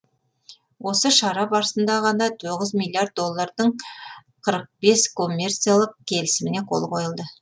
осы шара барысында ғана тоғыз миллиард доллардың қырық бес коммерциялық келісіміне қол қойылды